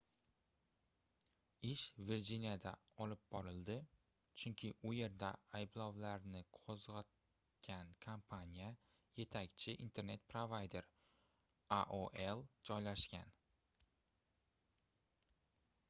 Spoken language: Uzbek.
ish virjiniyada olib borildi chunki u yerda ayblovlarni qoʻzgʻatgan kompaniya yetakchi internet provayder aol joylashgan